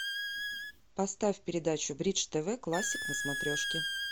поставь передачу бридж тв классик на смотрешке